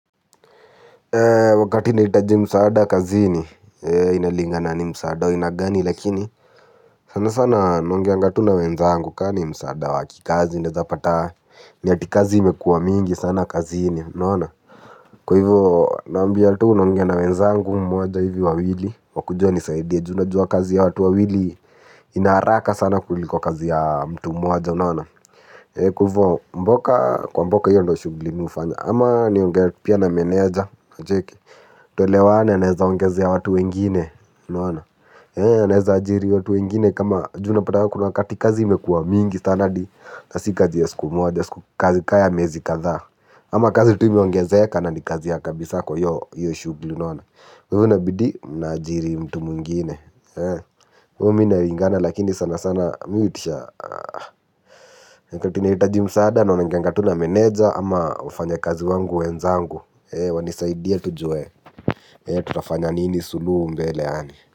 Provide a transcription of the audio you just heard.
Wakati naitaji msaada kazini inalingana ni msaada wa aina gani lakini sana sana naongeaanga tu na wenzangu kama msaada wakikazi naezapataa ni eti kazi imekuwa mingi sana kazini unaona. Kwa hivyo naambia tu naongea na wenzangu mmoja hivi au wawili wakuje wanisaidie unajua kazi ya watu wawili ina haraka sana kuliko kazi ya mtu mmoja unaona, kwa hivo mboka, kwa mboka ndio shughuli mimi hufanya, ama niongee pia na meneja unacheki tuelewane anaweza ongeza watu wengine unaona. Anawezaajiri watu wengine kama juu unapata kuna wakati kazi imekuwa mingi sana hadi si kazi ya siku moja kaa imezi kadhaa ama kazi tu imeongezea imeongezeka na ni kazi ya kabisa kwa hiyo shughuli unaona. Kwa hivo inabidi mnaajiri mtu mwingine mimi inalingana lakini sana sana. Mimi huitisha wakati ninahitaji msaada naongeanga na meneja ama wenzangu wafanyakazi wenzangu wanisaidie tujue tutafanya nini suluhu mbele yaani.